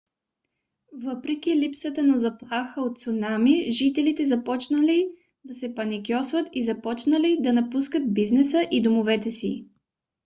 въпреки липсата на заплаха от цунами жителите започнали да се паникьосват и започнали да напускат бизнеса и домовете си